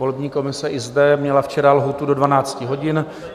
Volební komise i zde měla včera lhůtu do 12 hodin.